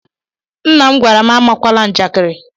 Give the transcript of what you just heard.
Nna m gwara m amakwana njakiri.